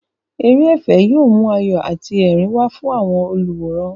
Eré ẹ̀fẹ̀ yóò mú ayọ̀ àti ẹ̀rín wá fún àwọn olùwòran.